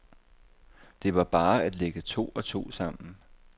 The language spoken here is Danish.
Det var bare at lægge to og to sammen.